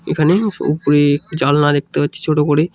এখানে ও-ওপরে জালনা দেখতে পাচ্ছি ছোট করে।